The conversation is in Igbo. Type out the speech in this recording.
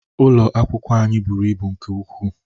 Ubi ụlọ akwụkwọ anyị bụrụ ịbụ nke ukwu.